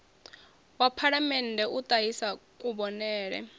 wa phalamennde u ṱahisa kuvhonele